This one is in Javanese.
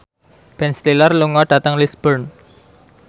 Ben Stiller lunga dhateng Lisburn